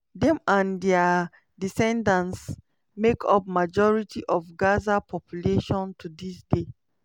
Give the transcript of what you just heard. dem and dia descendants make up majority of gaza population to dis day.